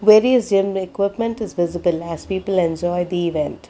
various gym equipment is visible as people enjoy the event.